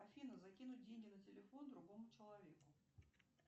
афина закинуть деньги на телефон другому человеку